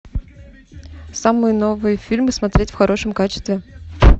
самые новые фильмы смотреть в хорошем качестве